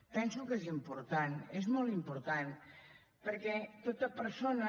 penso que és important és molt important perquè tota persona